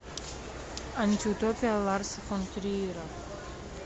антиутопия ларса фон триера